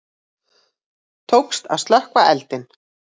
Tókst að slökkva eldinn